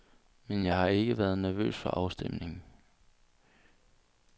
Men jeg har ikke været nervøs for afstemningen.